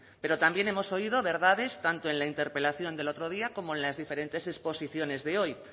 pero también hemos oído verdades tanto en la interpelación del otro día como en las diferentes exposiciones de hoy